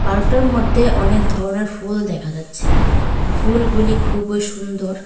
Park টার মদ্যে অনেকধরনের ফুল দেখা যাচ্ছে ফুলগুলি খুবই সুন্দর।